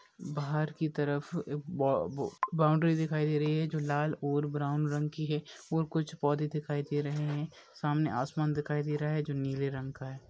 बाहर की तरफ ब बो बाउंड्री दिखाई दे रही है जो लाल और ब्राउन रंग की है और कुछ पौधा दिखाई दे रहे है सामने आसमान दिखाई दे रहा है जो नीले रंग का है।